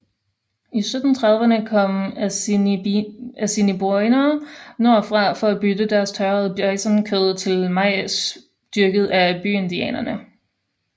I 1730erne kom assiniboiner nordfra for at bytte deres tørrede bisonkød til majs dyrket af byindianerne